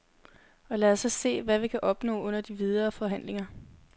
Og lad os så se, hvad vi kan opnå under de videre forhandlinger.